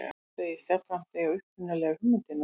Hann segist jafnframt eiga upprunalegu hugmyndina